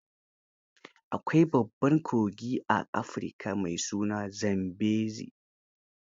Akwai babban kogi a Afirika mai suna Zambezi.